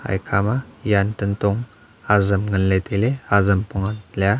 eyakha ma jan tantong ajam nganle taile ajam pong leya.